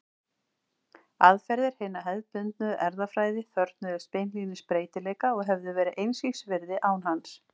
Aðferðir hinnar hefðbundnu erfðafræði þörfnuðust beinlínis breytileika og hefðu verið einskis virði án hans.